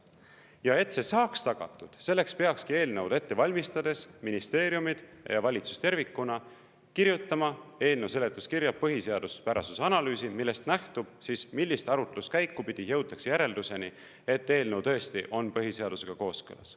Ja et see saaks tagatud, selleks peakski eelnõu ette valmistades ministeeriumid ja valitsus tervikuna kirjutama eelnõu seletuskirja põhiseaduspärasuse analüüsi, millest nähtub siis, millist arutluskäiku pidi jõutakse järelduseni, et eelnõu on põhiseadusega kooskõlas.